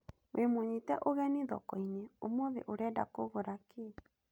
Wĩ mũnyite ũgeni thoko-inĩ, ũmũthĩ ũrenda kũgũra kĩ ?